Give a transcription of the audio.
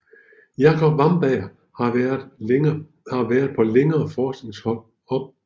Jacob Wamberg har været på længere forskningsophold i Firenze og i Baltimore